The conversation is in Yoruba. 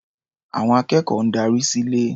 Àwọn akẹ́kọ̀ọ́ ń darí sílé.